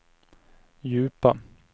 djupa